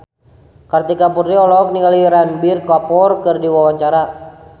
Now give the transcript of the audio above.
Kartika Putri olohok ningali Ranbir Kapoor keur diwawancara